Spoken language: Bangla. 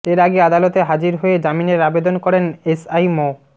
এর আগে আদালতে হাজির হয়ে জামিনের আবেদন করেন এসআই মো